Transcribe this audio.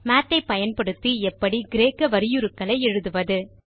மாத் ஐ பயன்படுத்தி எப்படி கிரேக்க வரியுருக்களை எழுதுவது